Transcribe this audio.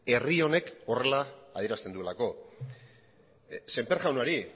herri honek horrela adierazten duelako sémper jaunari